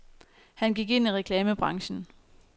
Han gik ind i reklamebranchen.